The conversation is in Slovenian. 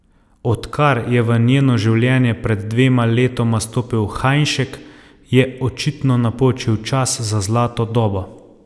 Odkar je v njeno življenje pred dvema letoma stopil Hajnšek, je očitno napočil čas za zlato dobo.